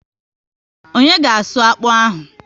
Onye ga asụ akpụ ahụ?